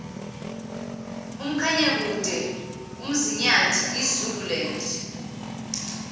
umkhanyakude umzinyathi izululand